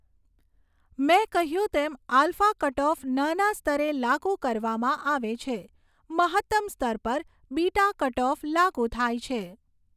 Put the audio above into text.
મેં કહ્યું તેમ આલ્ફા કટઑફ નાના સ્તરે લાગુ કરવામાં આવે છે મહત્તમ સ્તર પર બીટા કટઓફ લાગુ થાય છે.